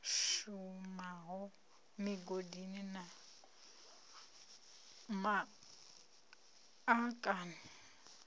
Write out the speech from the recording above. shumaho migodini na ma akani